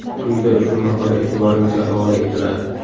Quyida ushbu maqola e’tiboringizga havola etiladi.